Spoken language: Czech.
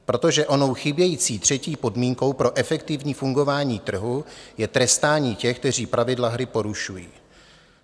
Protože onou chybějící třetí podmínkou pro efektivní fungování trhu je trestání těch, kteří pravidla hry porušují.